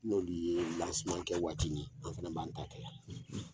N'olu ye kɛ waati min , an fana b b'an ta kɛ yan, .